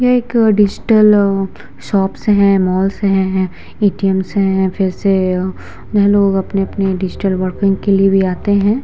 ये एक अ डिजिटल अ शॉप्स है माल्स है व ए.टी.एम. है फिर से अअ यहां लोग अपने-अपने डिजिटल वर्किंग के लिए भी आते हैं।